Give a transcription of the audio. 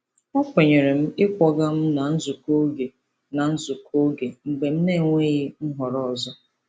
O kwenyere ịkwọga m na nzukọ oge na nzukọ oge mgbe m na-enweghị nhọrọ ọzọ.